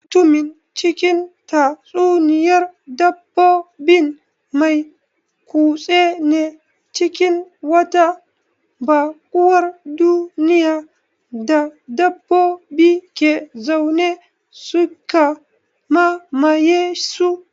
Mutumin cikin tatsuniyar dabbobin mai kutse ne cikin wata baƙuwar duniya da dabbobi ke zaune, suka mamaye su.